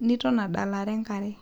niton adalare enkare.